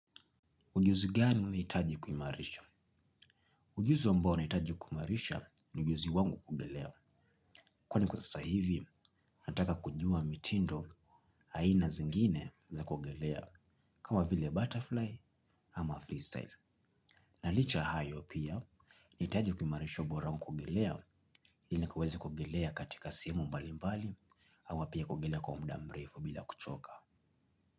Ujuzi gani umehitaji kumarisha? Ujuzi ambao nahitaji kuimarisha ni ujuzi wangu kuogelea. Kwani kwa sasa hivi, nataka kujua mitindo, aina zingine za kuogelea. Kama vile butterfly ama freestyle. Na licha hayo pia, nahitaji kuimarisha ubora wa kuogelea. Ili kuweza kuogelea katika sehemu mbali mbali. Ana pia kuogelea kwa muda mrefu bila kuchoka.